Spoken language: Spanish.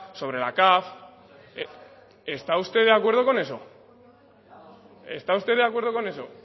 sobre la caf está usted de acuerdo con eso está usted de acuerdo con eso